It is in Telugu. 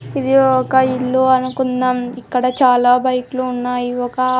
ఇది ఒక ఇల్లు అనుకుందాం ఇక్కడ చాలా బైక్లు ఉన్నాయి ఒక--